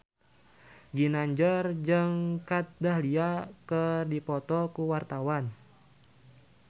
Ginanjar jeung Kat Dahlia keur dipoto ku wartawan